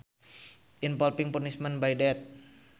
Involving punishment by death